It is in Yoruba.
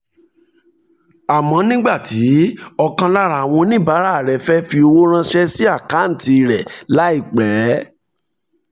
àmọ́ nígbà tí ọ̀kan lára àwọn oníbàárà rẹ̀ fẹ́ fi owó ránṣẹ́ sí àkáǹtì rẹ̀ láìpẹ́